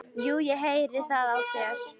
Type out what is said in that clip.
Jú, ég heyri það á þér.